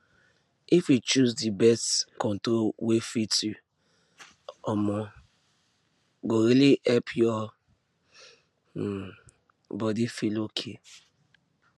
if you choose the birth control wey fit you um go really help your um body feel okay